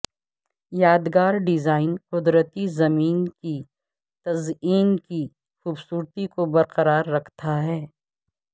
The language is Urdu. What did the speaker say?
یادگار ڈیزائن قدرتی زمین کی تزئین کی خوبصورتی کو برقرار رکھتا ہے